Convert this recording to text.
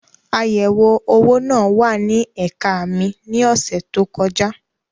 Ayẹ̀wé-owó náà wà ní ẹ̀ka mi ní ọ̀sẹ̀ tó kọjá.